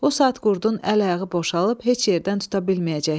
O saat qurdun əl-ayağı boşalıb heç yerdən tuta bilməyəcəkdi.